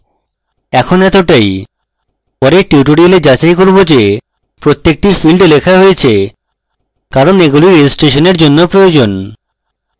in এতটাই পরের tutorial আমরা যাচাই করব যে প্রত্যেকটা field লেখা হয়েছে কারণ এগুলি registration জন্য প্রয়োজন